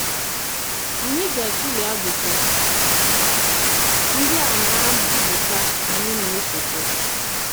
Ànyị gātụle ajụjụ ndị a na mbipụta anyị nā-esote.